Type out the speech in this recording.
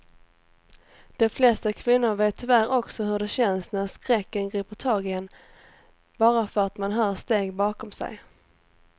De flesta kvinnor vet tyvärr också hur det känns när skräcken griper tag i en bara för att man hör steg bakom sig.